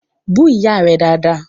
Bú Ìyá rẹ̀ dáadáa!